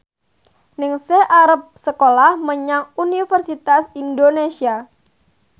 Ningsih arep sekolah menyang Universitas Indonesia